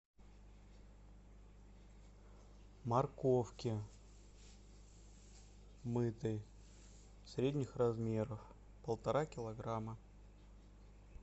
морковки мытой средних размеров полтора килограмма